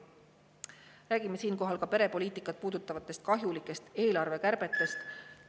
Räägime siinkohal ka perepoliitikat puudutavatest kahjulikest eelarvekärbetest.